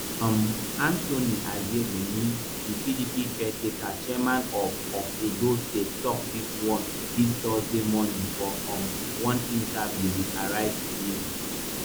um anthony aziegbemi di pdp caretaker chairman of of edo state tok dis one dis thursday morning for um one interview wit arise tv